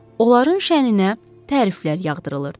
onların şənində təriflər yağdırılırdı.